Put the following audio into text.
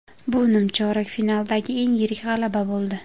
Bu nimchorak finaldagi eng yirik g‘alaba bo‘ldi.